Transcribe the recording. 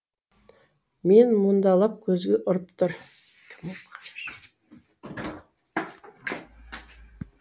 мен мұндалап көзге ұрып тұр